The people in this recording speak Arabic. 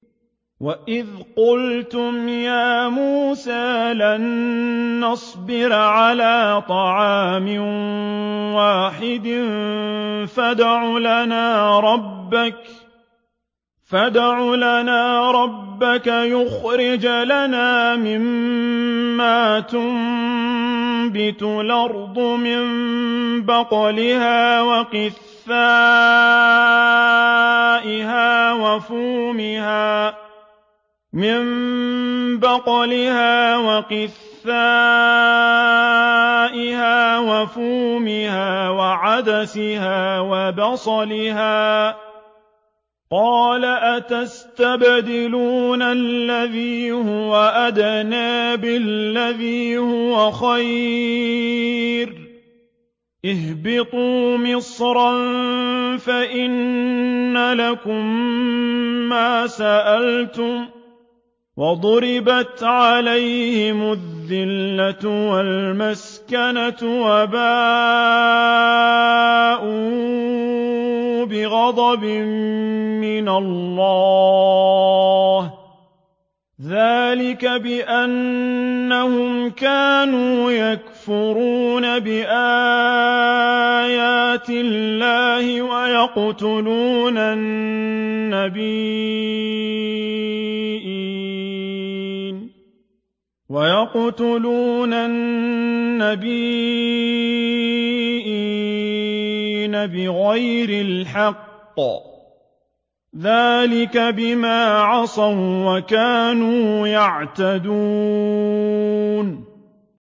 وَإِذْ قُلْتُمْ يَا مُوسَىٰ لَن نَّصْبِرَ عَلَىٰ طَعَامٍ وَاحِدٍ فَادْعُ لَنَا رَبَّكَ يُخْرِجْ لَنَا مِمَّا تُنبِتُ الْأَرْضُ مِن بَقْلِهَا وَقِثَّائِهَا وَفُومِهَا وَعَدَسِهَا وَبَصَلِهَا ۖ قَالَ أَتَسْتَبْدِلُونَ الَّذِي هُوَ أَدْنَىٰ بِالَّذِي هُوَ خَيْرٌ ۚ اهْبِطُوا مِصْرًا فَإِنَّ لَكُم مَّا سَأَلْتُمْ ۗ وَضُرِبَتْ عَلَيْهِمُ الذِّلَّةُ وَالْمَسْكَنَةُ وَبَاءُوا بِغَضَبٍ مِّنَ اللَّهِ ۗ ذَٰلِكَ بِأَنَّهُمْ كَانُوا يَكْفُرُونَ بِآيَاتِ اللَّهِ وَيَقْتُلُونَ النَّبِيِّينَ بِغَيْرِ الْحَقِّ ۗ ذَٰلِكَ بِمَا عَصَوا وَّكَانُوا يَعْتَدُونَ